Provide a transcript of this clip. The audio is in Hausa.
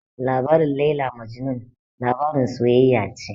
Labarin Laila Majnun labarin soyayya ce